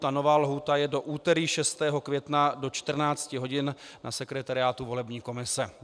Ta nová lhůta je do úterý 6. května do 14 hodin na sekretariátu volební komise.